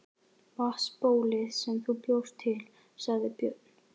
Vatnsbólið sem þú bjóst til, sagði Björn.